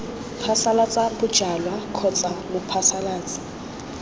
phasalatsa bojalwa kgotsa b mophasalatsi